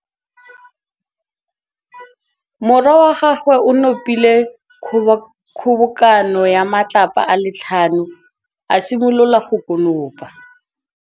Morwa wa gagwe o nopile kgobokanô ya matlapa a le tlhano, a simolola go konopa.